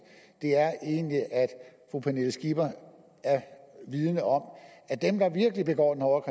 egentlig er at fru pernille skipper er vidende om at dem der virkelig begår den hårde